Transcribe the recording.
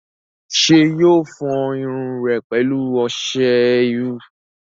ṣé yóò fọ irun rẹ̀ pẹ̀lú ọsẹ iru?